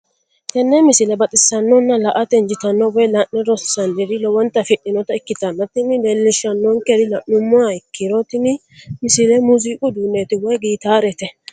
tenne misile baxisannonna la"ate injiitanno woy la'ne ronsannire lowote afidhinota ikkitanna tini leellishshannonkeri la'nummoha ikkiro tini misile muuziiqu uduunneeti woy gitaarete.